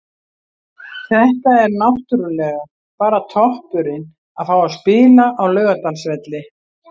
Þetta er náttúrulega bara toppurinn, að fá að spila á Laugardalsvelli.